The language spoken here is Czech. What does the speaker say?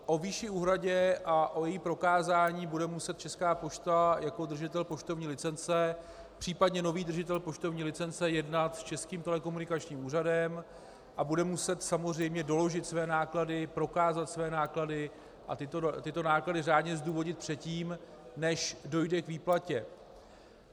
O výši úhrady a o jejím prokázání bude muset Česká pošta jako držitel poštovní licence, případně nový držitel poštovní licence, jednat s Českým telekomunikačním úřadem a bude muset samozřejmě doložit své náklady, prokázat své náklady a tyto náklady řádně zdůvodnit předtím, než dojde k výplatě.